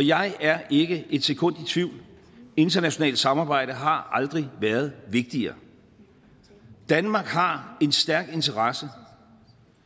jeg er ikke et sekund i tvivl internationalt samarbejde har aldrig været vigtigere danmark har en stærk interesse